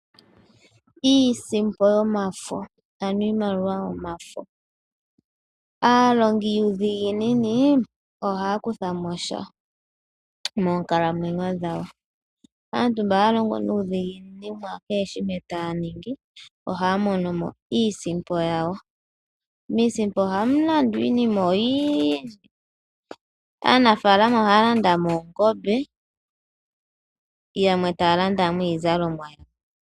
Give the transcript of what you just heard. Iisimpo yomafo, ano iimaliwa yomafo. Aalongidhiginini ohya kutha mo sha moonkalamwenyo dhawo, aantu mba haya longo nuudhiginini mukehe shimwe taya ningi ohaya mono mo iisimpo yawo. Iisimpo ohamu landwa iinima oyindji. Aanafalama oha landa mo oongombe yamwe taa landa mo iizalomwa .